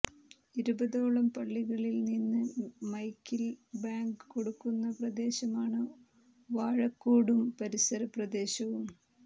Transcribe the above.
ഇരുപതോളം പള്ളികളിൽ നിന്ന് മൈക്കിൽ ബാങ്ക് കൊടുക്കുന്ന പ്രദേശമാണ് വാഴക്കാടും പരിസര പ്രദേശവും